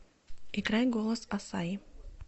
играй голос ассаи